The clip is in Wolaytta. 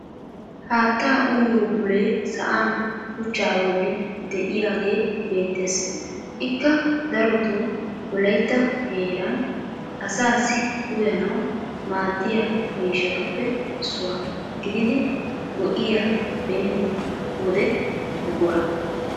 haattaa uyyiyo bulee sa'an shuchchaa bolli diyaagee beetees ikka darotoo wolaytta heeran asaassi uyanawu maadiya miishshatuppeissuwa gididi goiyaa beni wode buqura.